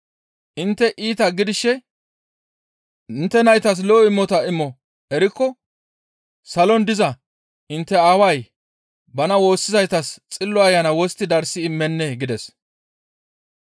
Intte iitata gidishe intte naytas lo7o imota imo erikko salon diza intte Aaway bana woossizaytas Xillo Ayana wostti darssi immennee?» gides.